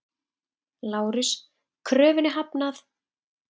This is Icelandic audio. LÁRUS: Kröfunni hafnað!